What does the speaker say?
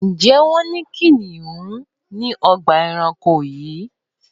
Ǹjẹ́ wọ́n ní kìnnìún ní ọgbà-ẹranko yẹn?